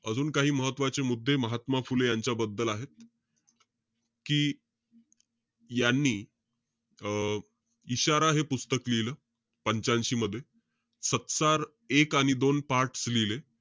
अजून काही महत्वाचे मुद्दे महात्मा फुले यांच्या बद्दल आहेत. कि यांनी अं इशारा हे पुस्तक लिहिलं. पंच्यांशी मध्ये. सत्सार एक आणि दोन parts लिहिले.